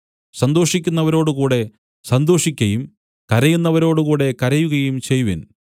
സന്തോഷിക്കുന്നവരോടുകൂടെ സന്തോഷിക്കയും കരയുന്നവരോടുകൂടെ കരയുകയും ചെയ്‌വിൻ